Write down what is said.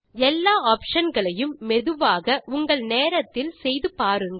எல்லா ஆப்ஷன் களையும் மெதுவாக உங்கள் நேரத்தில் செய்து பாருங்கள்